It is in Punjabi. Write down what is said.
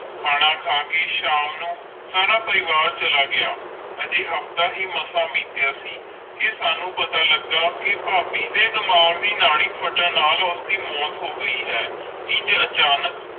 ਖਾਣਾ ਖਾ ਕੇ ਸ਼ਾਮ ਨੂੰ ਸਾਰਾ ਪਰਿਵਾਰ ਚਲਾ ਗਯਾ ਅਜੇ ਹਫਤਾ ਹੈ ਮਾਸ ਬੀਤਿਆ ਸੀ ਕ ਸਾਨੂ ਪਤਾ ਲਗਾ ਕ ਫਾਬੀ ਦੇ ਡਿਮਾਂਘ ਦੇ ਨਾਲਿ ਪੱਟਾਂ ਨਾਲ ਉਸ ਦੇ ਮੌਤ ਹੋ ਗਈ ਹੈ ਇੰਜ ਅਚਾਨਕ